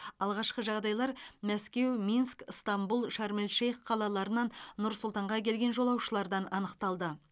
алғашқы жағдайлар мәскеу минск ыстанбұл шарм эль шейх қалаларынан нұр сұлтанға келген жолаушылардан анықталды